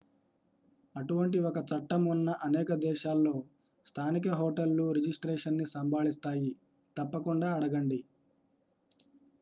అటువంటి ఒక చట్టం ఉన్న అనేక దేశాల్లో స్థానిక హోటళ్లు రిజిస్ట్రేషన్ ని సంభాళిస్తాయితప్పకుండా అడగండి